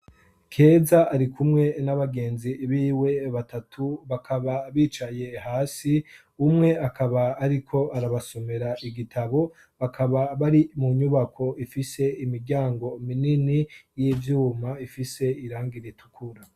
Keza ari kumwe n'abagenzi biwe batatu bakaba bicaye hasi umwe akaba, ariko arabasomera igitabo bakaba bari mu nyubako ifise imiryango minini y'ivyuma ifise iranga iritukura.